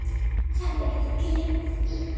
Hvernig gat ég gleymt því?